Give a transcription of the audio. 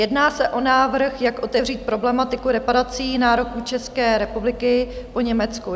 Jedná se o návrh, jak otevřít problematiku reparací, nároků České republiky po Německu.